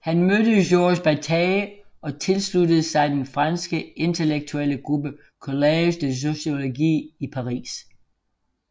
Han mødte Georges Bataille og tilsluttede sig den franske intellektuelle gruppe Collège de Sociologie i Paris